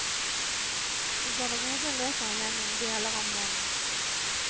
I garderoben leser han gjennom deler av manus.